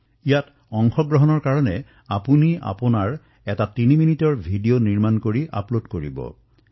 ইয়াত অংশগ্ৰহণ কৰাৰ বাবে আপুনি তিনি মিনিটৰ এটা ভিডিঅ প্ৰস্তুত কৰি আপলোড কৰিব লাগিব